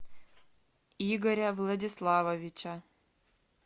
игоря владиславовича